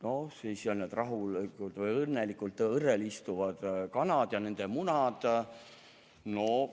No ja siis on need õnnelikud rahulikult õrrel istuvad kanad ja nende munad.